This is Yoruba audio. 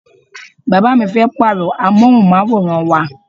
Bàbá mi fẹ́ pàrọ amohunmaworan wá.